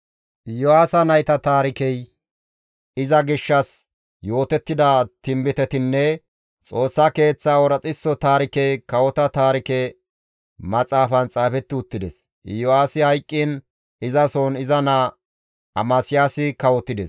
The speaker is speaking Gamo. Iyo7aasa nayta taarikey, iza gishshas yootettida tinbitetinne Xoossa keeththaa ooraxo taarikey kawota taarike maxaafan xaafetti uttides; Iyo7aasi hayqqiin izasohon iza naa Amasiyaasi kawotides.